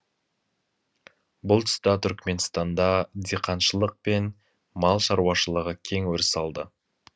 бұл тұста түрікменстанда диқаншылық пен мал шаруашылығы кең өріс алды